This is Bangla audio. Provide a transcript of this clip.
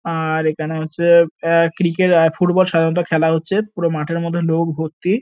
আর এখানে হচ্ছে আ ক্রিকেট আর ফুটবল সাধারনত খেলা হচ্ছে পুরো মাঠের মধ্যে লোক ভর্তি।